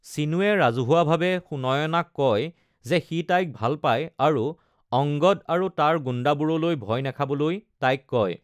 ছীনুৱে ৰাজহুৱাভাৱে সুনয়নাক কয় যে সি তাইক ভাল পায় আৰু অংগদ আৰু তাৰ গুণ্ডাবোৰলৈ ভয় নাখাবলৈ তাইক কয়।